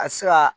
A bɛ se ka